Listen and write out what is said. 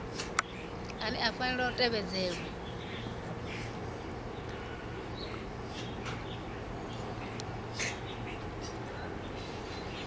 ane a fanela u tevhedzelwa